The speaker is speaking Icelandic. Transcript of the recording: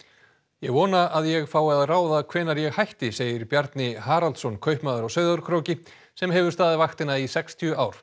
ég vona að ég fái að ráða hvenær ég hætti segir Bjarni Haraldsson kaupmaður á Sauðárkróki sem hefur staðið vaktina í sextíu ár